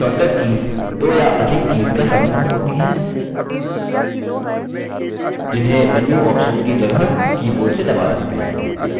shortcut keys दो या अधिक कीज़ का समूह होती हैं जिन्हें menu options की जगह keyboard से दबा सकते हैं